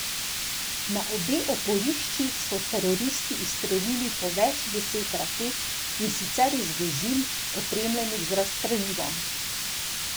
Na obe oporišči so teroristi izstrelili po več deset raket, in sicer iz vozil, opremljenih z razstrelivom.